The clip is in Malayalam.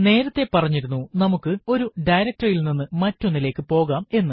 നേരത്തെ പറഞ്ഞിരുന്നു നമുക്ക് ഒരു directory യിൽ നിന്നും മറ്റൊന്നിലേക്കു പോകാം എന്ന്